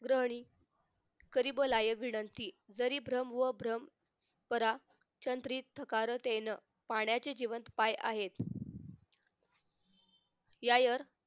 ग्रहणी करी ब लायत विनंती तरी भ्रम व भ्रम परा चनत्रित चकारतेन पाण्याचे जीवन पाय आहेत यायर